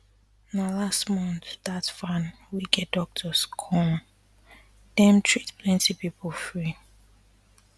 na last um month dat van wey get doctors come dem um treat plenty people free